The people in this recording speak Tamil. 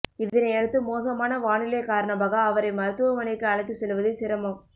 இதனையடுத்து மோசமான வானிலை காரணமாக அவரை மருத்துவமனைக்கு அழைத்து செல்வதில் சிரமம்